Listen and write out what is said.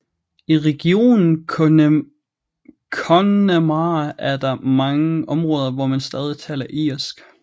I regionen Connemara er der mange områder hvor man stadig taler irsk